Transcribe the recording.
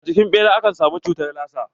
A jikin ɓera ake samun cutar lasa?